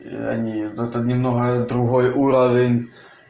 и они это немного другой уровень